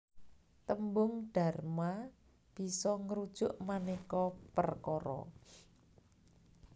Tembung dharma bisa ngrujuk manéka perkara